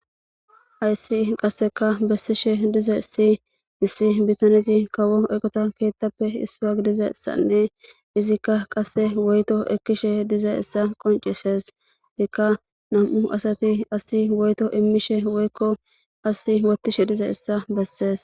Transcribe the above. Aysii qasseka bessishe dize si issi bitanizi kawo eqota keettappe issua gidizessanne izikka qasse woyto ekkishe dize issa qoncisees ikka nam7u asati asi woyto immishe woykko asi wottishe dize issa bessees.